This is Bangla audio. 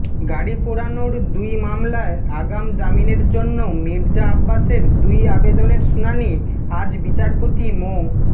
গাড়ি পোড়ানোর দুই মামলায় আগাম জামিনের জন্য মির্জা আব্বাসের দুই আবেদনের শুনানি আজ বিচারপতি মো